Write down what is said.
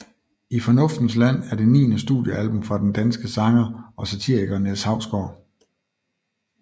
I fornuftens land er det niende studiealbum fra den danske sanger og satiriker Niels Hausgaard